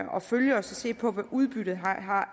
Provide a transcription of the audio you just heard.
følge og se på hvad udbyttet